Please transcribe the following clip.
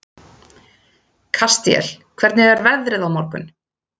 Kastíel, hvernig er veðrið á morgun?